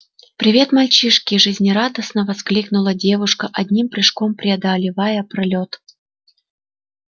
привет мальчиши жизнерадостно воскликнула девушка одним прыжком преодолевая пролёт